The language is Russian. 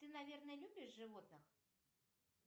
ты наверное любишь животных